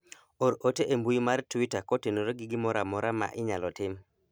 or ote e mbui mar twita kotenore gi gimoro amora ma inyalo tim